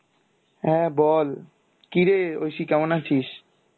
হ্যাঁ বল কিরে ঐশী কেমন আছিস?